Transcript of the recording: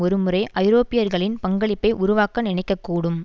ஒரு முறை ஐரோப்பியர்களின் பங்களிப்பை உருவாக்க நினைக்க கூடும்